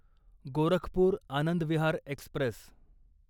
Gorakhpur Anand Vihar Express